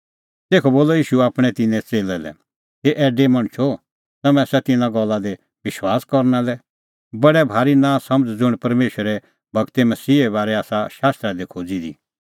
तेखअ बोलअ ईशू आपणैं तिन्नां च़ेल्लै लै हे ऐडै मणछो तम्हैं आसा तिन्नां गल्ला दी विश्वास करना लै बडै भारी नांसमझ़ ज़ुंण परमेशरे गूरै मसीहे बारै आसा शास्त्रा दी खोज़ी दी